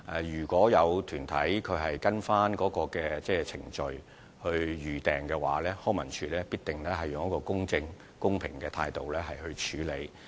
如果有團體按照程序預訂場地，康文署必定會以公正、公平的態度來處理。